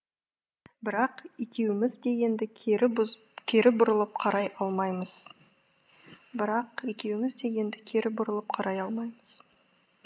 бірақ екеуіміз де енді кері бұрылып қарай алмаймыз бірақ екеуіміз де енді кері бұрылып қарай алмаймыз